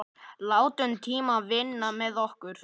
Látum tímann vinna með okkur.